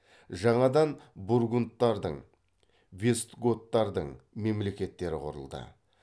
жаңадан бургундтардың вестготтардың мемлекеттері құрылды